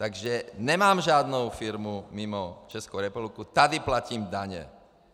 Takže nemám žádnou firmu mimo Českou republiku, tady platím daně.